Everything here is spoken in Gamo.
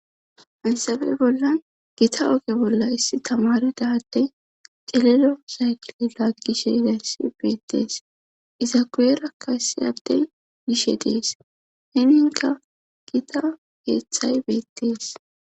Hansabey bolla gita oge bolla issi tamaridade celelo zaykile laggishe idaysi beettees iza kuyerakka issi addey gishe dees hininka gita heeththay beettees